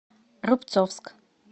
рубцовск